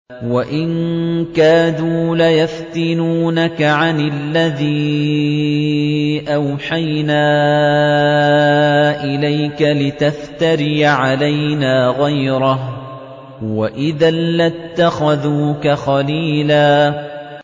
وَإِن كَادُوا لَيَفْتِنُونَكَ عَنِ الَّذِي أَوْحَيْنَا إِلَيْكَ لِتَفْتَرِيَ عَلَيْنَا غَيْرَهُ ۖ وَإِذًا لَّاتَّخَذُوكَ خَلِيلًا